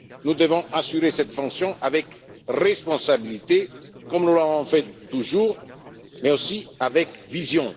Nous devons assurer cette fonction avec responsabilité, comme nous l'avons toujours fait, mais aussi avec vision.